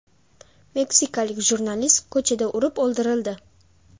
Meksikalik jurnalist ko‘chada urib o‘ldirildi.